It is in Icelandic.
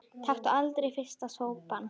Taktu aldrei fyrsta sopann!